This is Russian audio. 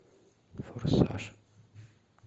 форсаж